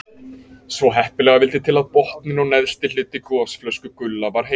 Svo heppilega vildi til að botninn og neðsti hluti gosflösku Gulla var heill.